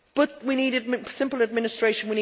But we need simple administration.